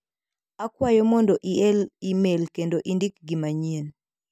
Akwayo mondo iel imel kendo indik gi manyien.